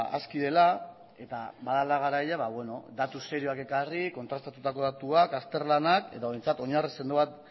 aski dela eta badela garaia datu serioak ekarri kontrastatutako datuak azterlanak edo behintzat oinarri sendo bat